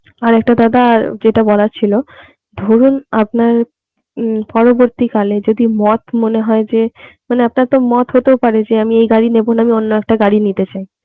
আর একটা দাদা যেটা বলার ছিল ধরুন আপনার উম পরবর্তীকালে যদি মত মনে হয় যে আপনার তো মত হতেও পারে যে আমি এই গাড়ি নেবো না আমি অন্য একটা গাড়ি নিতে চাই